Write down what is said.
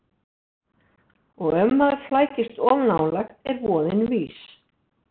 Og ef maður flækist of nálægt er voðinn vís.